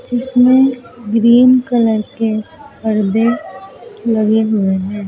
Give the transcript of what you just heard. इसमें green colour के पर्दे लगे हुए हैं।